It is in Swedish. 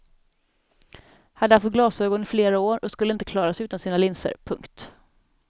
Hade haft glasögon i flera år och skulle inte klara sig utan sina linser. punkt